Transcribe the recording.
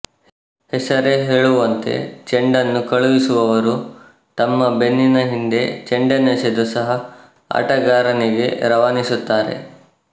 ಹೆಸರೇ ಹೇಳುವಂತೆ ಚೆಂಡನ್ನು ಕಳುಹಿಸುವವರು ತಮ್ಮ ಬೆನ್ನಿನ ಹಿಂದೆ ಚೆಂಡನ್ನೆಸೆದು ಸಹ ಆಟಗಾರನಿಗೆ ರವಾನಿಸುತ್ತಾರೆ